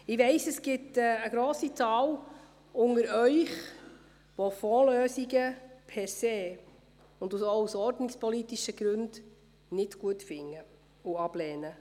Ich weiss, es gibt eine grosse Anzahl unter Ihnen, die Fondslösungen per se oder auch aus ordnungspolitischen Gründen nicht gut finden und ablehnen.